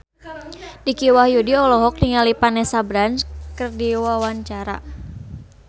Dicky Wahyudi olohok ningali Vanessa Branch keur diwawancara